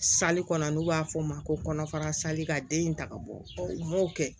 kɔnɔ n'u b'a f'o ma ko kɔnɔfara sali ka den in ta ka bɔ u m'o kɛ